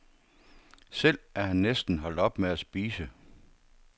Selv er han næsten holdt op med at spise.